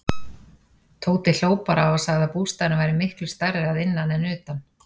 Tóti hló bara og sagði að bústaðurinn væri miklu stærri að innan en utan.